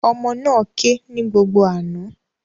Ọmọ náà ké ní gbogbo àná